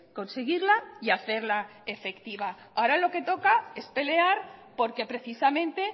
conseguirla y hacerla efectiva ahora lo que toca es pelear porque precisamente